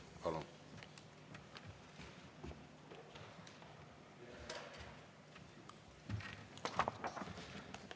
Palun!